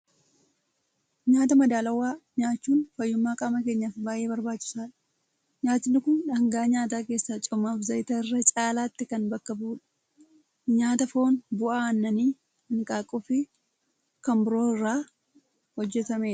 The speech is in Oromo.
Nyaata madaalawaa nyaachuun fayyummaa qaama keenyaaf baay'ee barbaachisaadha. Nyaatni kun dhaangaa nyaataa keessaa coomaa fi zayita irra caalaatti kan bakka bu'udha. Nyaata foon, bu'aa aannanii, hanqaaquu fi kan biroo irraa hojjetamedha.